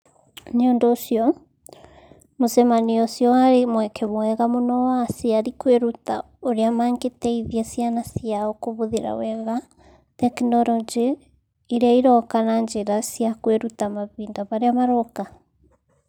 Nĩ ũndũ ũcio, mũcemanio ũcio warĩ mweke mwega mũno wa aciari kwĩruta ũrĩa mangĩteithia ciana ciao kũhũthĩra wega tekinoronjĩ iria iroka na njĩra cia kwĩruta mahinda marĩa maroka.